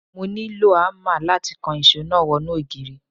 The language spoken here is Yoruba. Mo nílò ámà láti kan ìṣó náà wọnú ògiri.